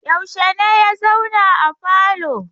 Yaushe ne ya zauna a falo?